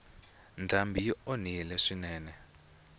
ndhambi yi onhile swinene